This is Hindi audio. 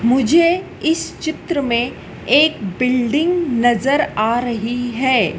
मुझे इस चित्र में एक बिल्डिंग नजर आ रही है।